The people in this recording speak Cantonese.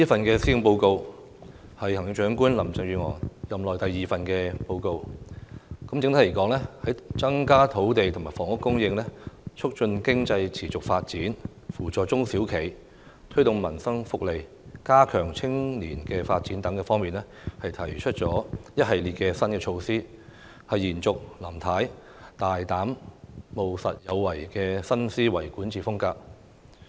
這是行政長官林鄭月娥任內第二份施政報告，整體而言，在增加土地和房屋供應、促進經濟持續發展、扶助中小型企業、推動民生福利，以及加強青年發展等方面，都提出了一系列新措施，延續林太大膽、務實、有為的新思維管治風格。